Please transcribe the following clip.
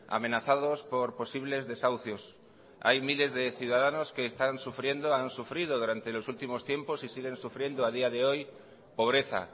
amenazados por posibles desahucios hay miles de ciudadanos que están sufriendo han sufrido durante los últimos tiempos y siguen sufriendo a día de hoy pobreza